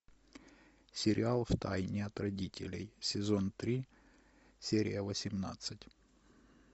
сериал в тайне от родителей сезон три серия восемнадцать